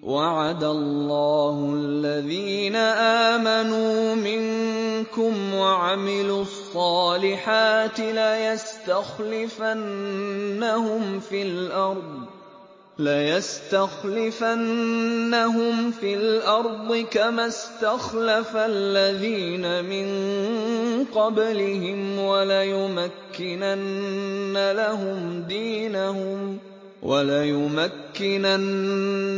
وَعَدَ اللَّهُ الَّذِينَ آمَنُوا مِنكُمْ وَعَمِلُوا الصَّالِحَاتِ لَيَسْتَخْلِفَنَّهُمْ فِي الْأَرْضِ كَمَا اسْتَخْلَفَ الَّذِينَ مِن قَبْلِهِمْ وَلَيُمَكِّنَنَّ